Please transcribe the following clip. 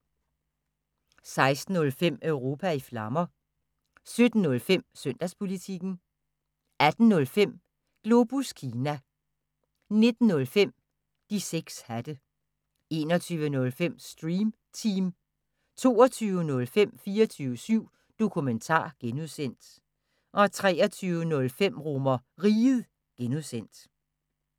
16:05: Europa i Flammer 17:05: Søndagspolitikken 18:05: Globus Kina 19:05: De 6 hatte 21:05: Stream Team 22:05: 24syv Dokumentar (G) 23:05: RomerRiget (G)